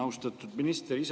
Austatud minister!